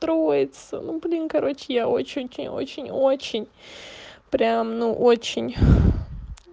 троица ну блин короче я очень-очень-очень очень прям ну очень